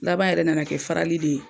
Laban yɛrɛ nana kɛ farali de ye